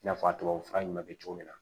I n'a fɔ a tubabu fura ɲuman bɛ kɛ cogo min na